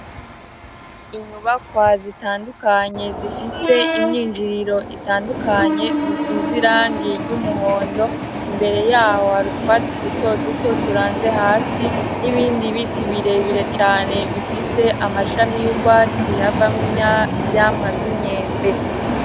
Inyubakwa zitandukanye zifise imyinjiriro itandukanye zisize irangi ry'umuhondo imbere yaho hari utwatsi duto duto turanze hasi n'ibindi biti bire bire cane bifise amashami y'ubwatsi havamwo ivyamwa vy'imyembe.